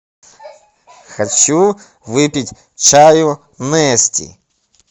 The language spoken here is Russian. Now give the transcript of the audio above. хочу выпить чаю нести